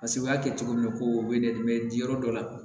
Paseke u y'a kɛ cogo min na ko u bɛ ne bɛ di yɔrɔ dɔw la